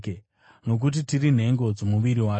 nokuti tiri nhengo dzomuviri wake.